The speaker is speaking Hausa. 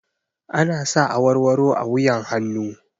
Ana sa awarwaro a wuyan hannu